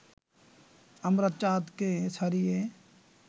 আমরা চাঁদকে ছাড়িয়ে